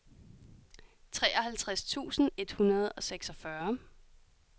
treoghalvtreds tusind et hundrede og seksogfyrre